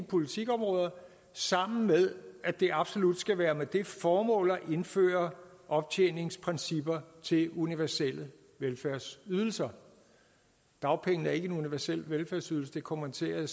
politikområder sammen med at det absolut skal være med det formål at indføre optjeningsprincipper til universelle velfærdsydelser dagpengene er ikke en universel velfærdsydelse det kommenterede